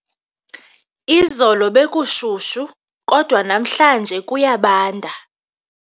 Izolo bekushushu kodwa namhlanje kuyabanda.